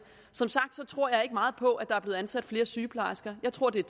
som sagt tror jeg ikke meget på at der er blevet ansat flere sygeplejersker jeg tror at det er